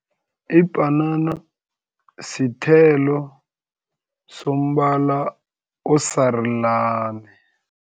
Ibhanana sithelo sombala osarulani.